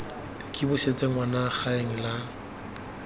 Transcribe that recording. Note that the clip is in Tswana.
ke busetse ngwana gaeng la